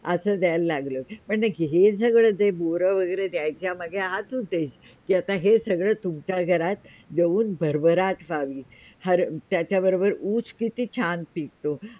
असं द्यायला लागलो पण हे सगळं जे बोरं वैगरे द्यायच्या मागे द्यायचा हाच उदेश्य की आता हे सगळं तुमच्या घरात येऊन भर- भराट राहावी हर त्याच्याबरोबर ऊस किती छान पिकतों